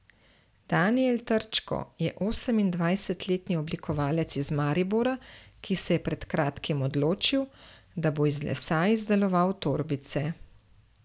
Danijel Trčko je osemindvajsetletni oblikovalec iz Maribora, ki se je pred kratkim odločil, da bo iz lesa izdeloval torbice.